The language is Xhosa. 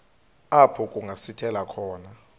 apho kungasithela khona